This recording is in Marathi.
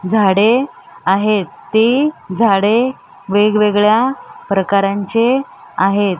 झाडे आहेत ती झाडे वेगवेगळ्या प्रकारांचे आहेत.